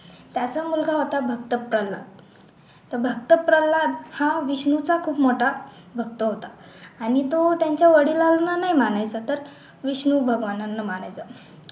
त्याचा मुलगा होता भक्त प्रल्हाद तर भक्त प्रल्हाद हा विष्णूचा खूप मोठा भक्त होता आणि तो त्यांच्या वडिलांना नाही मानायचा तर विष्णू भगवानांना मानायचा